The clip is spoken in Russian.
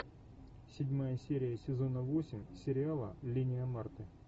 седьмая серия сезона восемь сериала линия марты